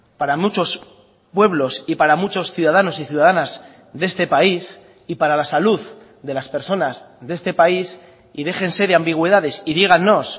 para muchos pueblos y para muchos ciudadanos y ciudadanas de este país y para la salud de las personas de este país y déjense de ambigüedades y dígannos